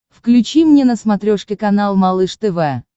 включи мне на смотрешке канал малыш тв